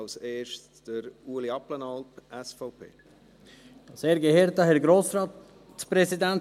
Zuerst hat Ueli Abplanalp, SVP, das Wort.